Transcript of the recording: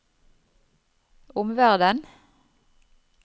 omverden